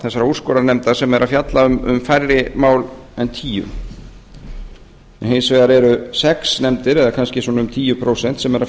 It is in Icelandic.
þessara úrskurðarnefnda sem er að fjalla um færri mál en tíu en hins vegar eru sex nefndir eða kannski svona um tíu prósent sem eru að